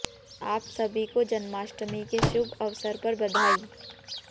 आप सभी को जन्माष्टमी के शुभ अवसर पर बधाई